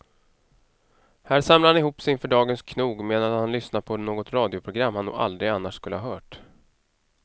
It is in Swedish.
Här samlar han ihop sig inför dagens knog medan han lyssnar på något radioprogram han nog aldrig annars skulle ha hört.